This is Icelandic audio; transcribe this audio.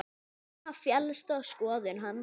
Rúna féllst á skoðun hans.